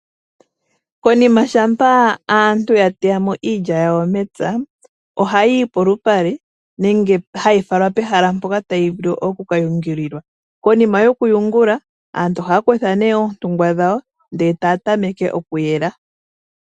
Konima shampa aantu ya teya mo iilya yawo mepya ohayiyi polupale nenge hayi falwa pehala mpoka tayi vulu okuka yungililwa konima yoku yungula aantu oohaa kutha nee oontungwa dhawo ndee taa tameke okuyela.